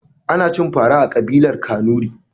Ana cin fara a kabilar kanuri.